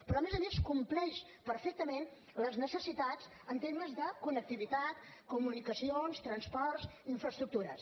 però a més a més compleix perfectament les necessitats en termes de connectivitat comunicacions transports i infraestructures